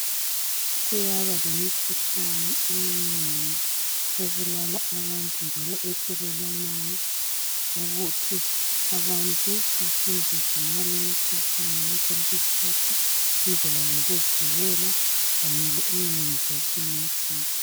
kuyaba lemikhuhlane eminengi ebulala abantu njalo ethelelwanayo ukuthi abantu bafundiswe ngale imikhuhlane ngaso sonke isikhathi indlela zokuzivikela kanye le immunization yakhona